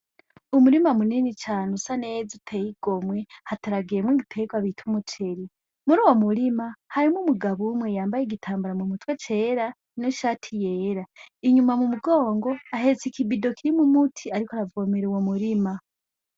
Umurima mu munini cane usa neza uteye igomwe, hateragiyemwo igitegwa bita umuceri, muri uwo murima harimwo umugabo umwe yambaye igitambara mu mutwe cera, n'ishati yera, inyuma mu mugongo ahetse ikibido kirimwo umuti ariko aravomera uwo murima.